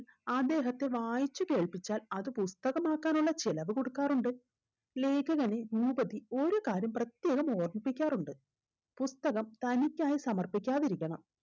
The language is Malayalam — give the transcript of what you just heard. അദ്ദേഹത്തെ വായിച്ചു കേൾപ്പിച്ചാൽ അത് പുസ്തകമാക്കാനുള്ള ചിലവ്‌ കൊടുക്കാറുണ്ട് ലേഖകന് ഭൂപതി ഒരു കാര്യം പ്രത്യേകം ഓർമിപ്പിക്കാറുണ്ട് പുസ്തകം തനിക്കായി സമർപ്പിക്കാതിരിക്കണം